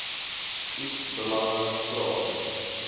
iets belangriks vra